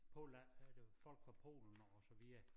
Polen er det folk fra Polen og så videre